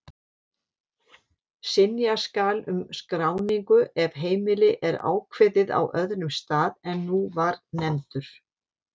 Synja skal um skráningu ef heimili er ákveðið á öðrum stað en nú var nefndur.